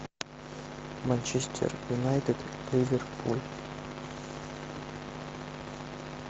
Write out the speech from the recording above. манчестер юнайтед ливерпуль